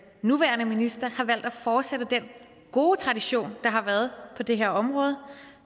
nuværende minister har valgt at fortsætte den gode tradition der har været på det her område